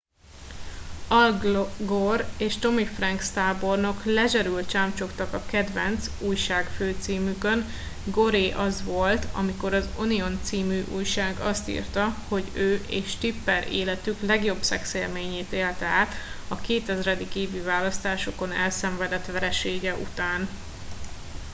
al gore és tommy franks tábornok lezserül csámcsogtak a kedvenc újságfőcímükön goré az volt amikor az onion c. újság azt írta hogy ő és tipper életük legjobb szexélményét élte át a 2000. évi választásokon elszenvedett veresége után